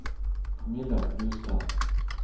Camilla Brustad